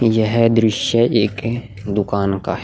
यह दृश्य एक दुकान का है।